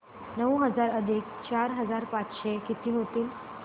नऊ हजार अधिक चार हजार पाचशे किती होतील